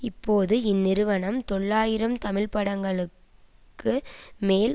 இப்போது இந்நிறுவனம் தொள்ளாயிரம் தமிழ்படங்களுக்கு மேல்